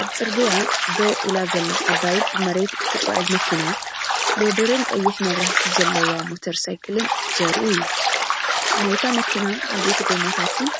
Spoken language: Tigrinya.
ኣብ ጽርግያ ደው ኢላ ዘላ ዓባይ ብመሬት እትጓዓዝ መኪና ሎደርን ቀይሕ መብራህቲ ዘለዋ ሞተር ሳይክልን ዘርኢ እዩ። ናይታ መኪና ዓበይቲ ጎማታትን